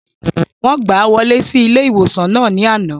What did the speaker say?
Wọ́n gbàá wọlé sí ilé-ìwòsàn náà ní àná